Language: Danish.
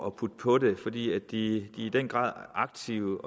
at putte på det fordi de i den grad er aktive